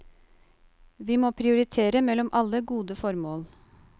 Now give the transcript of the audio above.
Vi må prioritere mellom alle gode formål.